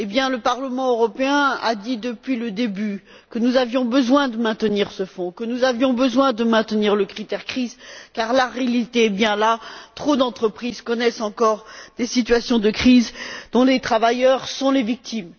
Le Parlement européen a dit, depuis le début, que nous avions besoin de maintenir ce fonds, que nous avions besoin de maintenir le critère crise, car la réalité est bien là trop d'entreprises connaissent encore des situations de crise, dont les travailleurs sont les victimes.